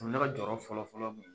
O minɛ kɛ jɔyɔrɔ fɔlɔfɔlɔ mun ye.